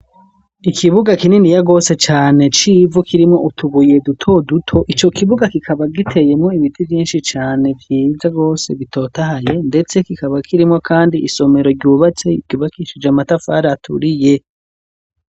Ikibuga kinini ya gose cane civu kirimo utubuye duto duto, icyo kibuga kikaba giteyemo ibiti vyinshi cane vyiza gose bitotahaye, ndetse kikaba kirimo kandi isomero ryubatse ryubakishije amatafari aturiye.